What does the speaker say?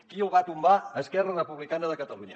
qui el va tombar esquerra republicana de catalunya